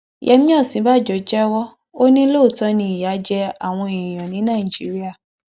yémí òsínbàjò jẹwọ ò ní lóòótọ ni ìyà jẹ àwọn èèyàn ní nàìjíríà